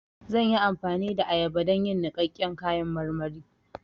Zan yi amfani da ayaba don yin niƙaƙƙen kayan marmari